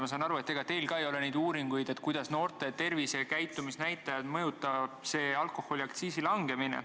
Ma saan aru, et ega teil ka ei ole uuringuid, kuidas mõjutab noorte tervise- ja käitumisnäitajaid alkoholiaktsiisi langetamine.